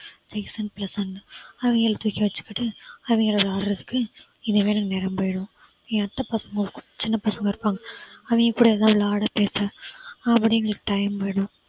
Jason பிளேசன்னு அவங்கள தூக்கி வச்சிக்கிட்டு, அவங்க கூட விளையாடுறதுக்கு நேரம் போயிடும் ஏன் அத்தை பசங்க ஒரு சின்ன பசங்க இருக்காங்க அவங்க கூட ஏதாவது விளையாட பேச அப்படின்னு time போயிடும்